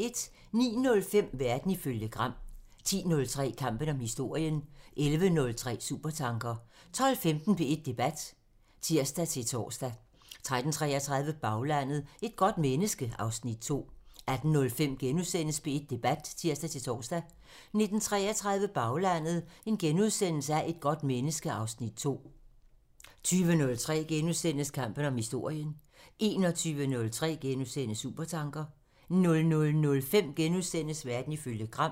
09:05: Verden ifølge Gram (tir) 10:03: Kampen om historien (tir) 11:03: Supertanker (tir) 12:15: P1 Debat (tir-tor) 13:33: Baglandet: Et godt menneske (Afs. 2) 18:05: P1 Debat *(tir-tor) 19:33: Baglandet: Et godt menneske (Afs. 2)* 20:03: Kampen om historien *(tir) 21:03: Supertanker *(tir) 00:05: Verden ifølge Gram *(tir)